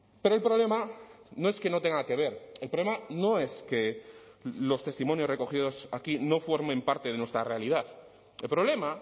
pero el problema no es que no tenga que ver el problema no es que los testimonios recogidos aquí no formen parte de nuestra realidad el problema